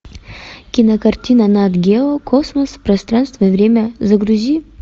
кинокартина нат гео космос пространство и время загрузи